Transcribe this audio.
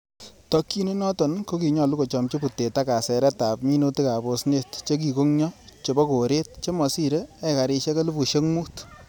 Tokyin inoton ko kinyolu kochomchi butet ak kaseret ab minutik ab osnet che kikongyo chebo koret chemosire ekarisiwk elfusiek mut.